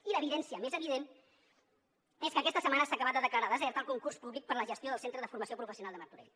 i l’evidència més evident és que aquesta setmana s’ha acabat de declarar desert el concurs públic per a la gestió del centre de formació professional de martorell